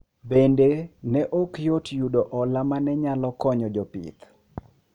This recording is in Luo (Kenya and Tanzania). Bende, ne ok yot yudo hola ma ne nyalo konyo jopith.